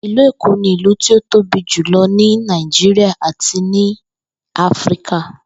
Ìlú Èkó ni ìlú tí ó tóbi jùlo̩ ní Nàìjíríà àti ní Áfíríkà